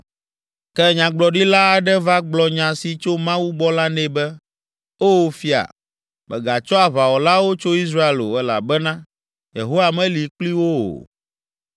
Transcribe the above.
Ke nyagblɔɖila aɖe va gblɔ nya si tso Mawu gbɔ la nɛ be, “Oo fia, mègatsɔ aʋawɔlawo tso Israel o elabena Yehowa meli kpli wo o.